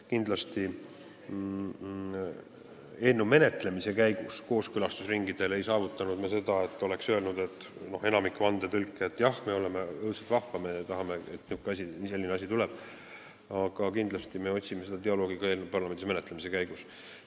Kindlasti ei saavutanud me eelnõu menetlemise käigus kooskõlastusringidel seda, et enamik vandetõlke oleks öelnud, et jah, õudselt vahva, me tahame, et selline asi tuleb, aga me otsime dialoogi ka eelnõu parlamendis menetlemise käigus.